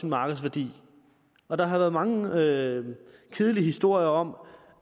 markedsværdi og der har været mange kedelige kedelige historier om